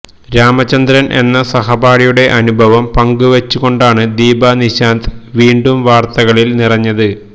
രാമചന്ദ്രൻ എന്ന സഹപാഠിയുടെ അനുഭവം പങ്കുവച്ചുകൊണ്ടാണ് ദീപാ നിശാന്ത് വീണ്ടും വാർത്തകളിൽ നിറഞ്ഞത്